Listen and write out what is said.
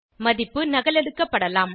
மதிப்பு நகலெடுக்கப்படலாம்